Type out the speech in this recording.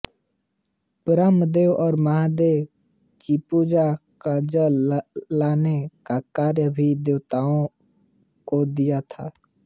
ब्रह्मदेव और महादेव की पूजा का जल लाने का कार्य भी देवताओं को दिया था